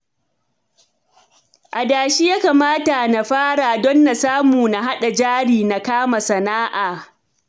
Adashi ya kamata na fara don na samu na haɗa jari na kama sana'a